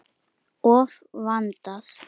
Of vandað.